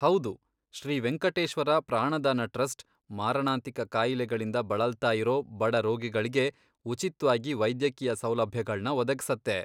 ಹೌದು, ಶ್ರೀ ವೆಂಕಟೇಶ್ವರ ಪ್ರಾಣದಾನ ಟ್ರಸ್ಟ್ ಮಾರಣಾಂತಿಕ ಕಾಯಿಲೆಗಳಿಂದ ಬಳಲ್ತಾ ಇರೋ ಬಡ ರೋಗಿಗಳ್ಗೆ ಉಚಿತ್ವಾಗಿ ವೈದ್ಯಕೀಯ ಸೌಲಭ್ಯಗಳ್ನ ಒದಗ್ಸತ್ತೆ.